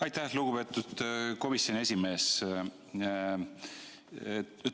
Aitäh, lugupeetud komisjoni esimees!